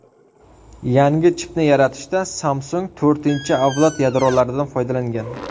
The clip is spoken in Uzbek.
Yangi chipni yaratishda Samsung to‘rtinchi avlod yadrolaridan foydalangan.